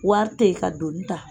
Wari tɛyi ka doni ta